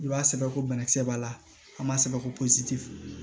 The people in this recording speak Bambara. I b'a sɛbɛn ko bana kisɛ b'a la an b'a sɛbɛ ko pɔsi